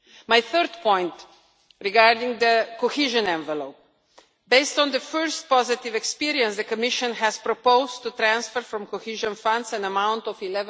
My third point concerns the cohesion envelope. Based on the first positive experience, the Commission has proposed to transfer from the Cohesion Funds an amount of